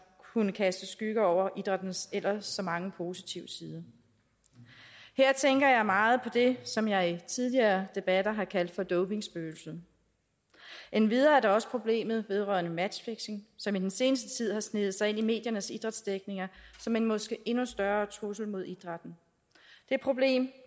kunne kaste skygger over idrættens ellers så mange positive sider her tænker jeg meget på det som jeg i tidligere debatter har kaldt for dopingspøgelset endvidere er der også problemet vedrørende matchfixing som i den seneste tid har sneget sig ind i mediernes idrætsdækning som en måske endnu større trussel mod idrætten det problem